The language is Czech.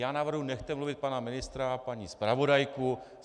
Já navrhuji, nechte mluvit pana ministra a paní zpravodajku.